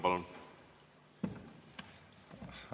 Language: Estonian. Palun!